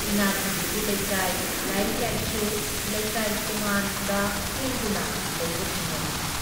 ꯏꯅꯥꯛꯈꯨꯟꯕꯒꯤ ꯂꯩꯀꯥꯏ, ꯂꯥꯏꯔꯤꯛ ꯂꯥꯏꯁꯨ ꯂꯩꯀꯥꯏ ꯇꯣꯉꯥꯟꯕ ꯁꯦꯝꯗꯨꯅ ꯂꯩꯕ ꯊꯦꯡꯅꯔꯛꯏ ꯫